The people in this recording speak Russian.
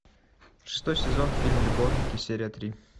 шестой сезон фильм любовники серия три